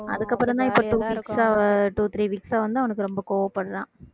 அதுக்கப்புறம்தான் இப்ப two weeks ஆ அவன் two three weeks ஆ வந்து அவனுக்கு ரொம்ப கோவப்படறான்